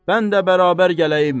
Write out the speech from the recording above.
mən də bərabər gələyim.